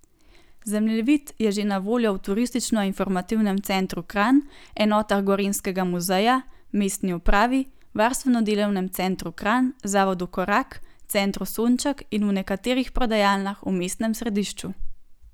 Zemljevid je že na voljo v Turistično informativnem centru Kranj, enotah Gorenjskega muzeja, mestni upravi, Varstveno delovnemu centru Kranj, Zavodu Korak, Centru Sonček in v nekaterih prodajalnah v mestnem središču.